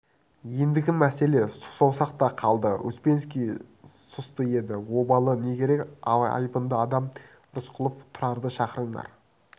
ендігі мәселе сұқ саусақта қалды успенский сұсты еді обалы не керек айбынды адам рысқұлов тұрарды шақырыңдар